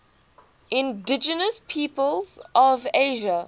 indigenous peoples of asia